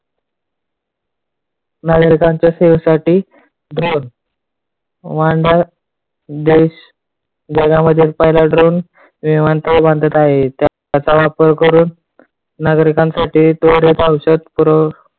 नागरिकांच्या सेवेसाठी drone जगामध्ये पहिला drone विमानतळ बांधत आहे. त्याचा वापर करून नागरिकांसाठी दौऱ्याचा औषध पुरवू